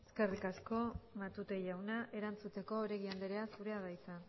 eskerrik asko matute jauna erantzuteko oregi andrea zurea da hitza